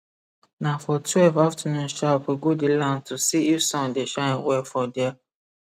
na for twelve afternoon sharp we go di land to see if sun dey shine well for dia